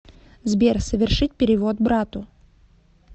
сбер совершить перевод брату